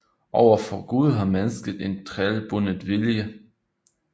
Over for Gud har mennesket en trælbundet vilje